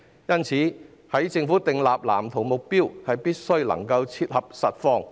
因此，政府在制訂藍圖的目標時，必須切合實況。